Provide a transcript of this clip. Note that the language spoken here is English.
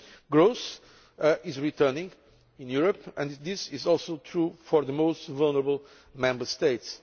Growth is returning in Europe, and this is also true for the most vulnerable Member States.